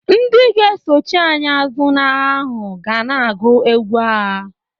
Ndị ga-esochi anyị azụ n'agha ahụ ga na-agụ egwu agha.